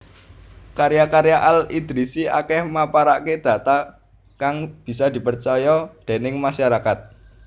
Karya karya Al Idrisi akèh maparaké data kang bisa dipercaya déning masarakat